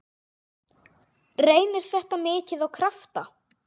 Reynir þetta mikið á krafta?